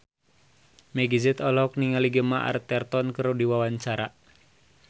Meggie Z olohok ningali Gemma Arterton keur diwawancara